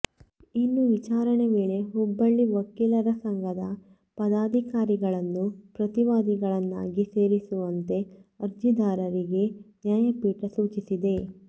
ಇನ್ನು ವಿಚಾರಣೆ ವೇಳೆ ಹುಬ್ಬಳ್ಳಿ ವಕೀಲರ ಸಂಘದ ಪದಾಧಿಕಾರಿಗಳನ್ನೂ ಪ್ರತಿವಾದಿಗಳನ್ನಾಗಿ ಸೇರಿಸುವಂತೆ ಅರ್ಜಿದಾರರಿಗೆ ನ್ಯಾಯಪೀಠ ಸೂಚಿಸಿದೆ